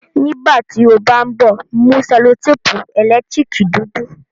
nígbàtí o bá nbọ mu sellotape elekitirikidudu